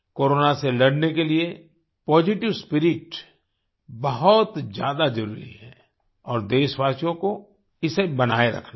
corona से लड़ने के लिए पॉजिटिव स्पिरिट बहुत ज्यादा जरुरी है और देशवासियों को इसे बनाए रखना है